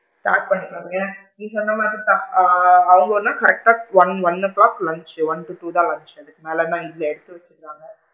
Start பண்ணிக்குவாங்க நீ சொன்ன மாதிரி தான் ஆ அவுங்கன்னா correct டா one one o clock lunch one fifty தான் லஞ்ச்சு அதுக்கு மேல லா இல்ல எடுத்து வச்சிடுவாங்க,